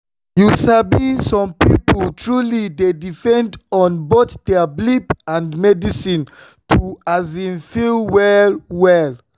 you sabi some people truly dey depend on both their belief and medicine to um feel well well.